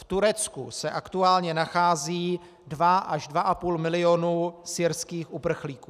V Turecku se aktuálně nachází dva až dva a půl milionu syrských uprchlíků.